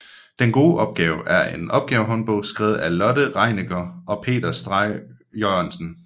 Den gode opgave er en opgavehåndbog skrevet af Lotte Rienecker og Peter Stray Jørgensen